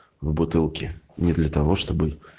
в бутылке не для того чтобы